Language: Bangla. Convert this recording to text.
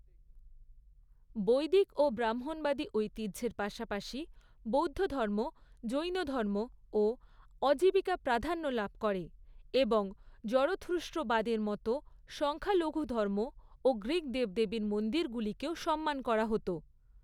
বৈদিক ও ব্রাহ্মণবাদী ঐতিহ্যের পাশাপাশি বৌদ্ধধর্ম, জৈনধর্ম ও অজীবিকা প্রাধান্য লাভ করে, এবং জরথুস্ট্রবাদের মতো সংখ্যালঘু ধর্ম ও গ্রীক দেবদেবীর মন্দিরগুলিকেও সম্মান করা হত।